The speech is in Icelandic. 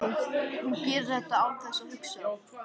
Hún gerir þetta án þess að hugsa.